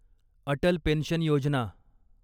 Atal pension Yojana